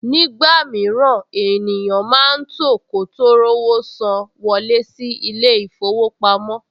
Nígbà mìíràn, ènìyàn máa tò kó tó rówó san wọlé sí ilé-ìfowópamọ́